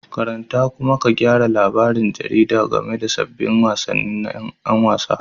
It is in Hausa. Karanta kuma ka gyara labarin jaridar game da sabbin abubuwan wasanni na 'yan wasa